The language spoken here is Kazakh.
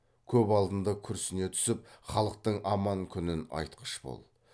көп алдында күрсіне түсіп халықтың аман күнін айтқыш бол